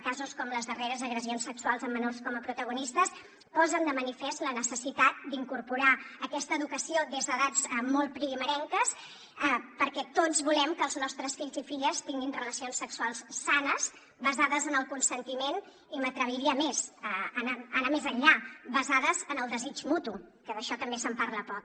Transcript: casos com les darreres agressions sexuals amb menors com a protagonistes posen de manifest la necessitat d’incorporar aquesta educació des d’edats molt primerenques perquè tots volem que els nostres fills i filles tinguin relacions sexuals sanes basades en el consentiment i m’atreviria a més a anar més enllà basades en el desig mutu que d’això també se’n parla poc